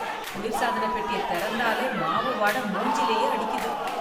குளிர் சாதனப் பெட்டியத் திறந்தாலே மாவு வாடை மூஞ்சிலயே அடிக்குது.